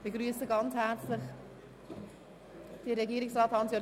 Ich begrüsse herzlich Regierungsrat Käser.